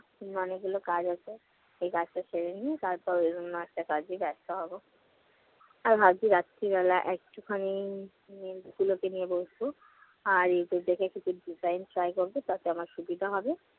এমনি অনেকগুলো কাজ আছে। এই কাজটা সেরে নিয়ে তারপর ওই জন্য আরেকটা কাজে ব্যস্ত হবো। আর আজকে রাত্রিবেলা একটুখানি নিয়ে বসব, আর YouTube থেকে কিছু design try করবো তাতে আমার সুবিধা হবে।